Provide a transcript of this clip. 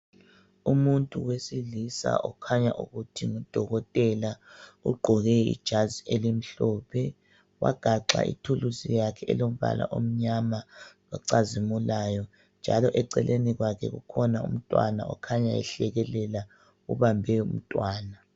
Umuntu wesilisa okukhanya ukuthi ngudokotela. Ugqoke ijazi elimhlophe, wagaxa ithuluzi yakhe elombala omnyama ocazimulayo, njalo eceleni kwakhe kukhona umntwana okhanya ehlekelela. Ubambe umntwana.